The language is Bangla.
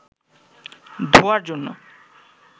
ধোঁয়ার জন্য